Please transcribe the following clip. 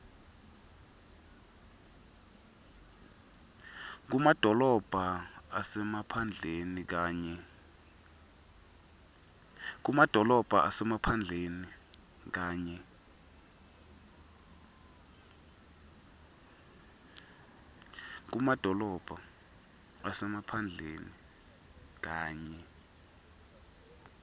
kumadolobha asemaphandleni kanye